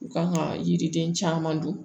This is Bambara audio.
U kan ka yiriden caman dun